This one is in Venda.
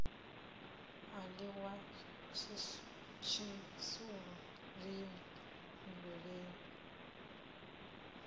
a ḽiwa tshisulu lini nndweleni